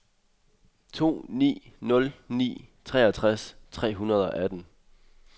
to ni nul ni treogtres tre hundrede og atten